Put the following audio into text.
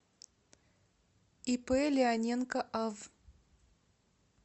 ип леоненко ав